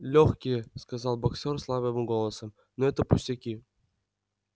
лёгкие сказал боксёр слабым голосом но это пустяки